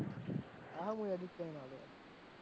હા હું edit કરીને આલું આલું